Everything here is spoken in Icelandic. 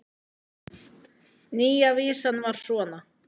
Nýja vísan var svona: